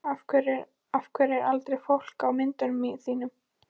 Af hverju er aldrei fólk á myndunum þínum?